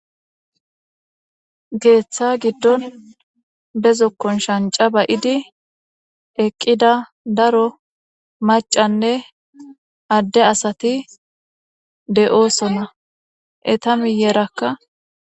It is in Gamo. geeththa giddon bezo kon shanca ba7idi eqqida daro macanne adde asati de7oosona eta miyerakka